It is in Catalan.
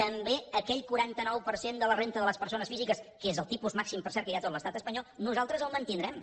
també aquell quaranta nou per cent de la renda de les persones físiques que és el tipus màxim per cert que hi ha a tot l’estat espanyol nosaltres el mantindrem